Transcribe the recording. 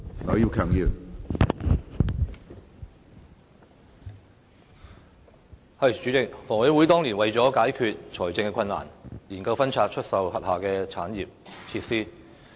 主席，香港房屋委員會當年為解決財政困難，研究分拆出售轄下的產業設施。